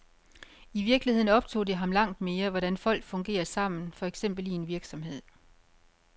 I virkeligheden optog det ham langt mere, hvordan folk fungerer sammen, for eksempel i en virksomhed.